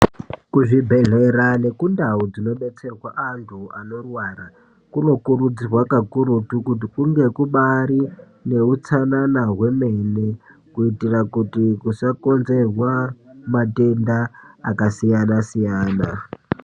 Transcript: Kuzvibhedhlera nekundau dzinobetserwa antu anorwara, kunokurudzirwa kakurutu kuti kunge kubaari neutsanana hwemene, kuitira kuti kusakonzerwa matenda akasiyana-siyana.